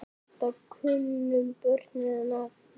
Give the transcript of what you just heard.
Þetta kunnu börnin að meta.